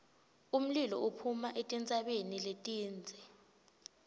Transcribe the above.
umlilo uphuma etintsabeni letindze